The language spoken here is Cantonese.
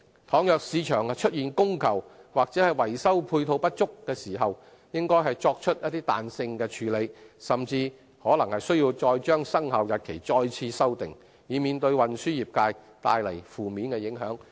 倘若市場出現供求或維修配套不足的情況，應作出彈性處理，甚至可能須再次修訂生效日期，以免為運輸業界帶來負面影響。